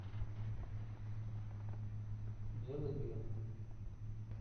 белый бим